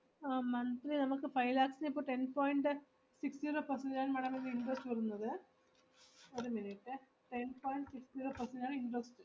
ആഹ് monthly നമുക്ക് five lakhs ന് ഇപ്പൊ ten point six zero percent ആണ് madam അപ്പൊ interest വരുന്നത്. ഒരു minute ഏ ten point six zero percent ആണ് interest